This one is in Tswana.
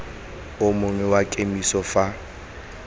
o mongwe wa kemiso fa